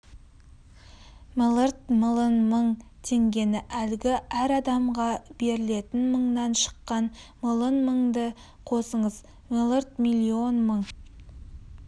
млрд млн мың теңгені әлгі әр адамға берілетін мыңнан шыққан млн мыңды қосыңыз млрд миллион мың